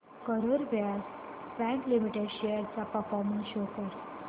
Karur Vysya bank limited shares चा performance show कर